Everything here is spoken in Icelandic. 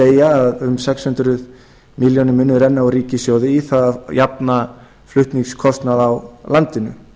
segja að um sex hundruð milljóna munir annað úr ríkissjóði í það að jafna flutningskostnað á landinu